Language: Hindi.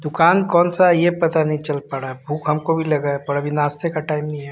दुकान कौन सा है ये पता नहीं चल पा रहा भूख हमको भी लगा है पर अभी नाश्ते का टाइम नहीं है।